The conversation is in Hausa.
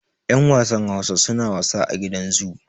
yan wasan Hausa suna wasa a gidan zu